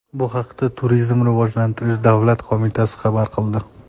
Bu haqda Turizmni rivojlantirish davlat qo‘mitasi xabar qildi .